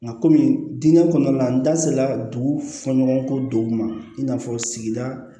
Nka kɔmi diinɛ kɔnɔna la n da sera dugu fɔɲɔgɔnkɔ dɔw ma i n'a fɔ sigida